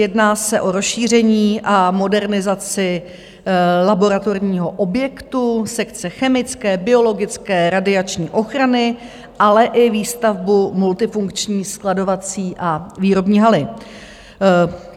Jedná se o rozšíření a modernizaci laboratorního objektu, sekce chemické, biologické, radiační ochrany, ale i výstavbu multifunkční skladovací a výrobní haly.